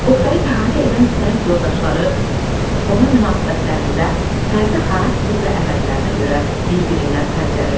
Oqtayı əhatə edən sənət yoldaşları ona münasibətlərində fərdi xarakter və əməllərinə görə bir-birindən fərqlənir.